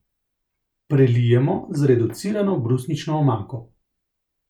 Prelijemo z reducirano brusnično omako.